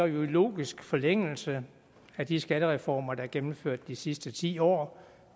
jo i logisk forlængelse af de skattereformer der er gennemført de sidste ti år